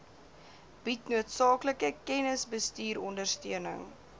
bied noodsaaklike kennisbestuurondersteuning